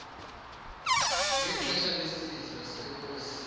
ngexesha lesidlo senkosi